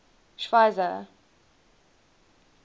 schweizer